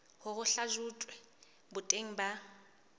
hore ho hlahlojwe boteng ba